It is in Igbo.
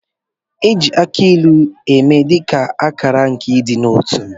E ji akị ilu eme dị ka akala nke ịdị n'otu